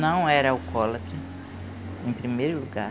Não era alcoólatra, em primeiro lugar.